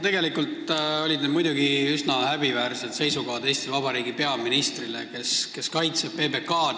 Tegelikult olid need muidugi üsna häbiväärsed seisukohad Eesti Vabariigi peaministrilt, kes kaitseb PBK-d.